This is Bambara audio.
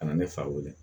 Ka na ne fa weele